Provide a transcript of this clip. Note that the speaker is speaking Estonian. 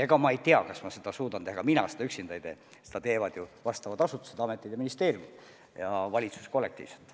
Ega ma ei tea, kas ma suudan seda teha, ja ega mina seda üksinda ei tee, seda teevad ju asutused, kõik need ametid ja ministeeriumid ja valitsus kollektiivselt.